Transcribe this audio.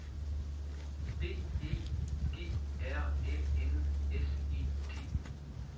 B E G R Æ N S E T